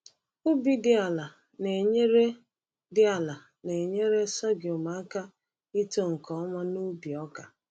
Ubi dị ala na-enyere dị ala na-enyere sorghum aka ito nke ọma n’ubi ọka.